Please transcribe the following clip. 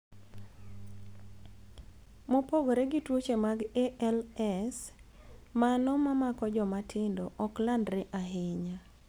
Mopogore gi tuoche mag ALS, mano mamako joma tindo ok landre ahinya.